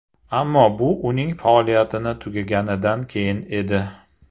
Ammo bu uning faoliyatini tugaganidan keyin edi.